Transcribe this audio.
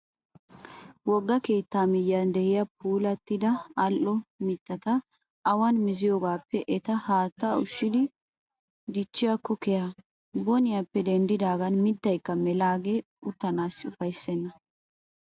Wogga keettaa miyyiyan de'iyaa puulattida al'o mittata awan miziyoogaappe eta haattaa ushshidi dichchiyaakko keha. Boniyaappe denddaagan maatayikka melaagee uttanaassi ufayissenna.